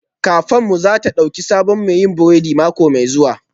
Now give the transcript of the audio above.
Kafenmu za ta ɗauki sabon mai yin burodi mako mai zuwa